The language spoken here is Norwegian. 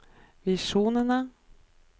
visjonene